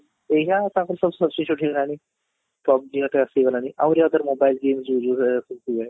ଏଇନା ତାଙ୍କର ସବୁ substitute ହେଇଗଲାଣି, PUBG ହେକା ଆସିଗଲାଣି ଆହୁରି other mobile game